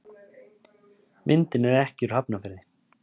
Myndin er ekki úr Hafnarfirði.